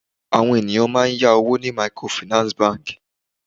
Àwọn ènìyàn máà ń yá owó ní microfinance bank.